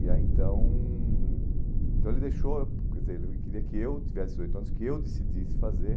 E aí então, então ele deixou, quer dizer, ele queria que eu tivesse dezoito anos, que eu decidisse fazer.